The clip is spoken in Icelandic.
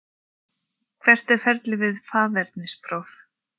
Hvert er ferlið við faðernispróf?